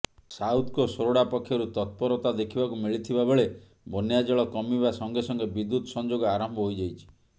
ସାଉଥ୍କୋ ସୋରଡ଼ା ପକ୍ଷରୁ ତତ୍ପରତା ଦେଖିବାକୁ ମିଳିଥିବା ବେଳେ ବନ୍ୟାଜଳ କମିବା ସଙ୍ଗେସଙ୍ଗେ ବିଦୁ୍ୟତ୍ ସଂଯୋଗ ଆରମ୍ଭ ହୋଇଯାଇଛି